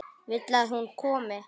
Vill að hún komi.